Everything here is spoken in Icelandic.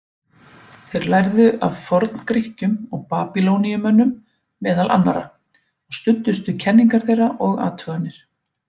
Þeir lærðu af Forngrikkjum og Babýloníumönnum, meðal annarra, og studdust við kenningar þeirra og athuganir.